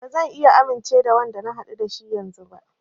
Ba zan iya amince da Wanda na haɗu da shi yanzun ba.